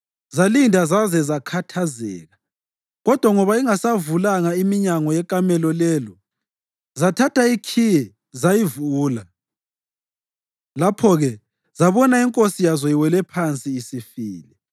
Zalinda zaze zakhathazeka, kodwa ngoba ingasavulanga iminyango yekamelo lelo, zathatha ikhiye zayivula. Lapho-ke zabona inkosi yazo iwele phansi, isifile.